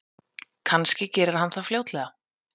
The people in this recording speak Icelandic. Kannski gerir hann það fljótlega.